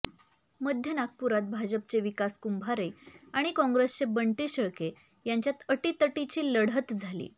मध्य नागपुरात भाजपचे विकास कुंभारे आणि काँग्रेसचे बंटी शेळके यांच्यात अटीतटीची लढत झाली